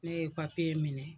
Ne ye papiye minɛ